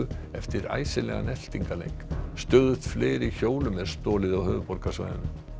eftir eltingaleik stöðugt fleiri hjólum er stolið á höfuðborgarsvæðinu